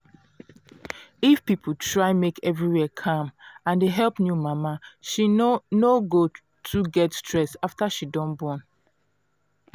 if people try make everywhere calm and dey help new mama she no no go too get stress after she don born